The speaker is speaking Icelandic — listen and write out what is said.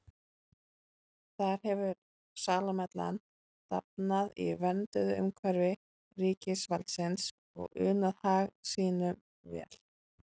Þar hefur salmonellan dafnað í vernduðu umhverfi ríkisvaldsins og unað hag sínum vel.